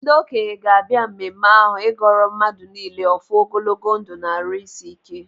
Ndị okenye ga-abịa mmemme ahụ ịgọọrọ mmadụ niile ọfọ ogologo ndụ na-arụ isi ike.